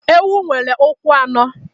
Ewu nwere ụkwụ anọ.